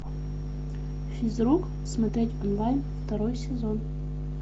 физрук смотреть онлайн второй сезон